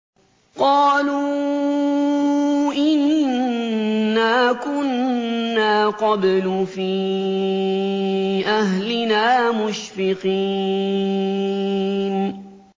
قَالُوا إِنَّا كُنَّا قَبْلُ فِي أَهْلِنَا مُشْفِقِينَ